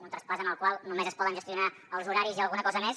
un traspàs en el qual només es poden gestionar els horaris i alguna cosa més